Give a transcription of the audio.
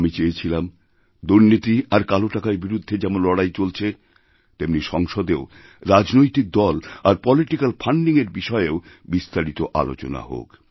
আমি চেয়েছিলাম দুর্নীতি আর কালো টাকার বিরুদ্ধে যেমন লড়াই চলছে তেমনিসংসদেও রাজনৈতিক দল আর পলিটিক্যাল ফাণ্ডিংএর বিষয়েও বিস্তারিত আলোচনা হোক